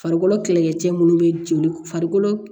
Farikolo kɛlɛkɛcɛ minnu bɛ joli farikolo